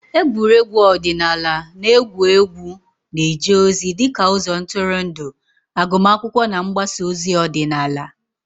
Egwuregwu ọdịnala na egwu egwu na-eje ozi dị ka ụzọ ntụrụndụ, agụmakwụkwọ na mgbasa ozi ọdịnala.